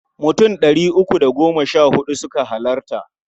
Mutum ɗari uku da goma sha huɗu suka halarta.